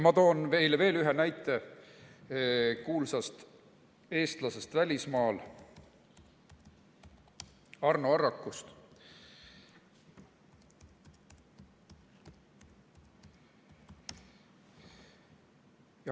Ma toon veel ühe näite kuulsa eestlase kohta välismaal – Arno Arrak.